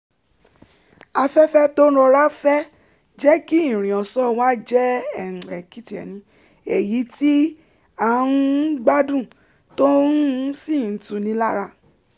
afẹ́fẹ́ tó ń rọra fẹ́ jẹ́ kí ìrìn ọ̀sán wa jẹ́ èyí tí a um gbádùn tó um sì tuni lára